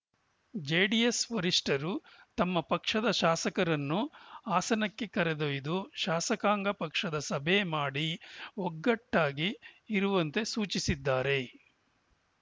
JDS ವರಿಷ್ಠರು ತಮ್ಮ ಪಕ್ಷದ ಶಾಸಕರನ್ನು ಹಾಸನಕ್ಕೆ ಕರೆದೊಯ್ದು ಶಾಸಕಾಂಗ ಪಕ್ಷದ ಸಭೆ ಮಾಡಿ ಒಗ್ಗಟ್ಟಾಗಿ ಇರುವಂತೆ ಸೂಚಿಸಿದ್ದಾರೆ